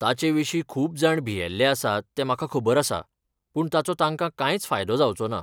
ताचें विशीं खूब जाण भियेल्ले आसात हें म्हाका खबर आसा, पूण ताचो तांका कांयच फायदो जावचो ना.